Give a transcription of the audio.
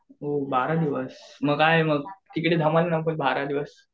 ओह बारा दिवस मग आहे मग तिकडे धमाल असेल बारा दिवस.